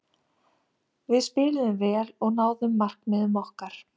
Við spiluðum vel og náðum markmiðum okkar.